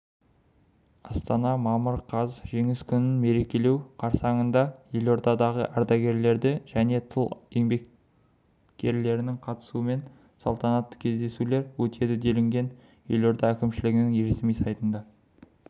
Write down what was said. астана мамыр қаз жеңіс күнін мерекелеу қарсаңында елордада ардагерлерінің және тыл еңбеккерлерінің қатысуымен салтанатты кездесулер өтеді делінген елорда әкімшілігінің ресми сайтында